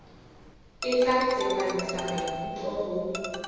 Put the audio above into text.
e tla tsepamisa maikutlo ho